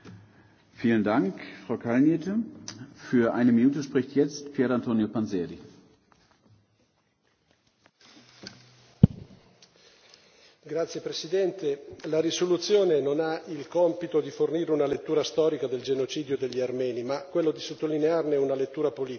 Signor Presidente, onorevoli colleghi, la risoluzione non ha il compito di fornire una lettura storica del genocidio degli armeni, ma quello di sottolinearne una lettura politica